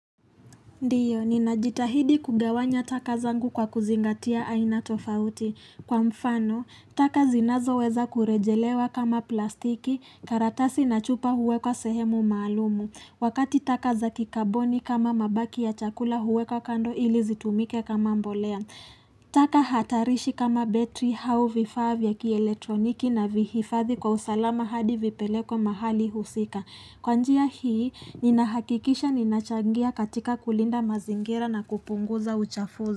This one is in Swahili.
Ndio, ninajitahidi kugawanya taka zangu kwa kuzingatia aina tofauti. Kwa mfano, taka zinazo weza kurejelewa kama plastiki, karatasi na chupa huwekwa sehemu maalumu. Wakati taka za kikaboni kama mabaki ya chakula huwekwa kando ili zitumike kama mbolea. Taka hatarishi kama betri au vifavya kieletroniki navihifadhi kwa usalama hadi vipelekwe mahali husika. Kwa njia hii, ninahakikisha ninachangia katika kulinda mazingira na kupunguza uchafuzi.